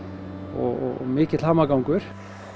og mikill hamagangur